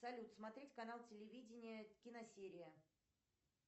салют смотреть канал телевидение киносерия